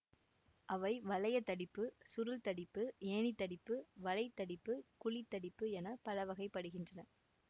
அவை வளையத் தடிப்பு சுருள் தடிப்பு ஏணித் தடிப்பு வலை தடிப்பு குழித்தடிப்பு என பலவகைப்படுகின்றன